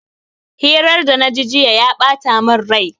Hirar da na ji ya bata min rai.